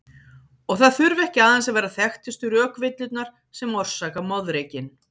Og það þurfa ekki aðeins að vera þekktustu rökvillurnar sem orsaka moðreykinn.